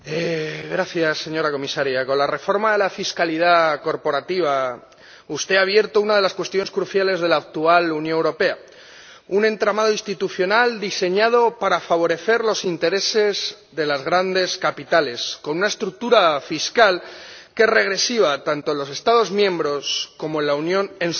Señora Comisaria, con la reforma de la fiscalidad corporativa usted ha abierto una de las cuestiones cruciales de la actual Unión Europea, un entramado institucional diseñado para favorecer los intereses de los grandes capitales, con una estructura fiscal que es regresiva tanto en los Estados miembros como en la Unión en su conjunto.